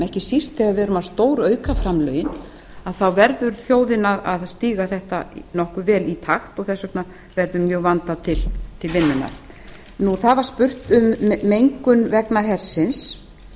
ekki síst þegar við erum að stórauka framlögin þá verður þjóðin að stíga þetta nokkuð vel í takt og þess vegna verður vel vandað til vinnunnar það var spurt um mengun vegna hersins